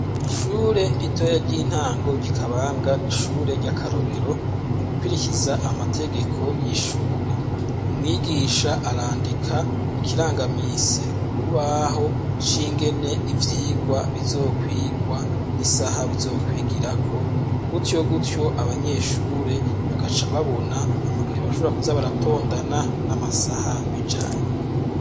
Ishure ritoya ry'intango ry'ikabanga, n'ishure ry'akarorero mu gukwirikiza amategeko y'ishure, umwigisha arandika ikirangamise kurubaho shingene ivyigwa bizokwigwa n'isaha bizokwigira ko gutyo gutyo abanyeshure bakaca babona amakaye bashobra kuza baratondana n'amasaha bijanye.